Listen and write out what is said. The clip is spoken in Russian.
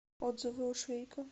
отзывы у швейка